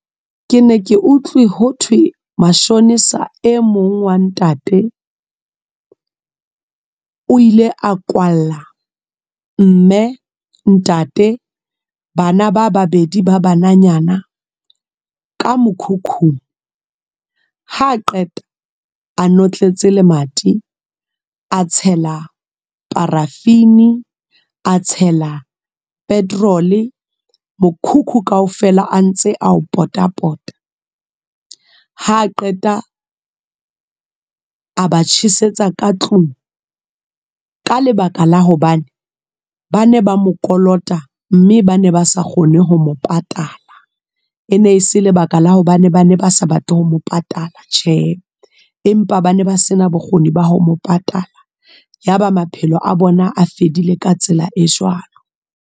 Ke ne ke utlwe ho thwe mashonisa e mong wa ntate. O ile a kwalla mme, ntate, bana ba babedi ba bananyana, ka mokhukhung. Ha qeta, a notletse lemati. A tshela paraffin, a tshela petrol, mokhukhu kaofela a ntse a o pota pota. Ha qeta, a ba tjhesetsa ka tlung. Ka lebaka la hobane, bane ba mo kolota mme ba ne ba sa kgone ho mo patala. Ene se lebaka la hobane bane ba sa batle ho mo patala tjhe, empa ba ne ba sena bokgoni ba ho mo patala. Yaba maphelo a bona a fedile. Ka tsela e jwalo.